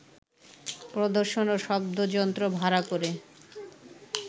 প্রদর্শন ও শব্দযন্ত্র ভাড়া করে